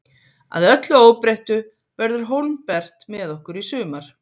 Að öllu óbreyttu verður Hólmbert með okkur í sumar.